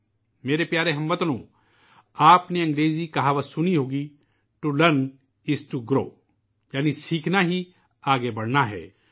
میرے پیارے ہم وطنو ، آپ نے انگریزی کی کہاوت ضرور سنی ہوگی '' to learn is to grow '' یعنی '' سیکھنا ہی آگے بڑھنا ہے''